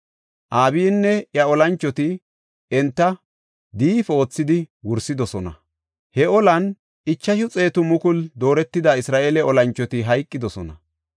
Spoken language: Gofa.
Abiyinne iya olanchoti enta diifi oothidi wursidosona. He olan 500,000 dooretida Isra7eele olanchoti hayqidosona.